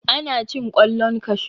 ana cin kwallon kashu